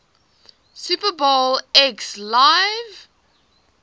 super bowl xliv